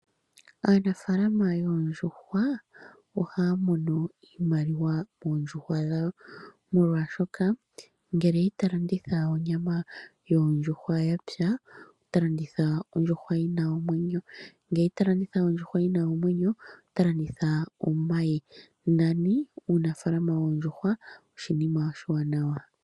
Aanafaalama yoondjuhwa ohaya mono iimaliwa moondjuhwa dhawo, molwashoka ngele ita landitha onyama yondjuhwa ya pya, ota landitha ondjuhwa yi na omwenyo, ngele ita landitha ondjuhwa yi na omwenyo ota landitha omayi. Nani uunafaalama woondjuhwa oshinima oshiwanawa.